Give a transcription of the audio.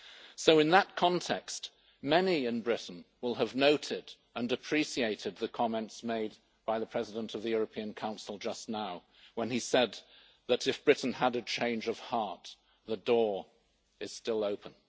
So in that context, many in Britain will have noted and appreciated the comments made by the President of the European Council just now, when he said that if Britain had a change of heart the door would still be open.